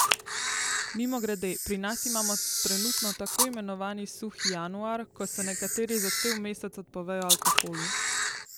Mimogrede, pri nas imamo trenutno tako imenovani suhi januar, ko se nekateri za cel mesec odpovejo alkoholu.